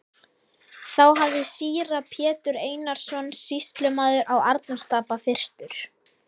Þá hafði síra Pétur Einarsson sýslumaður á Arnarstapa fyrstur